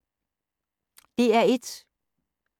DR1